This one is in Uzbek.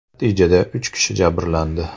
Natijada uch kishi jabrlandi.